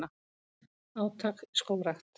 Átak í skógrækt